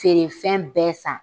Feerefɛn bɛɛ san